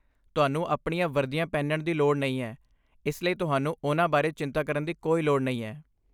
ਤੁਹਾਨੂੰ ਆਪਣੀਆਂ ਵਰਦੀਆਂ ਪਹਿਨਣ ਦੀ ਲੋੜ ਨਹੀਂ ਹੈ, ਇਸ ਲਈ ਤੁਹਾਨੂੰ ਉਨ੍ਹਾਂ ਬਾਰੇ ਚਿੰਤਾ ਕਰਨ ਦੀ ਕੋਈ ਲੋੜ ਨਹੀਂ ਹੈ।